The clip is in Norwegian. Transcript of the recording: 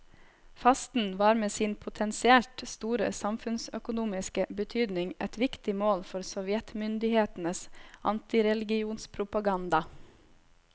Fasten var med sin potensielt store samfunnsøkonomiske betydning et viktig mål for sovjetmyndighetenes antireligionspropaganda.